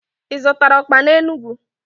Ị zụtara ọkpa n'Enugwu?